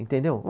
Entendeu?